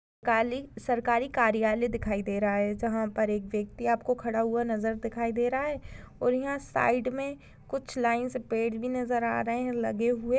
काली सरकारी कार्यालय दिखाई दे रहा है जहां पर एक व्यक्ति आपको खड़ा हुआ नजर दिखाई दे रहा है और यहा साइड कुछ मे लाइन से पेड़ भी नजर आ रहे है लगे हुए।